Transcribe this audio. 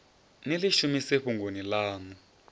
ni ḽi shumise fhungoni ḽaṋu